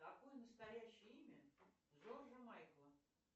какое настоящее имя джорджа майкла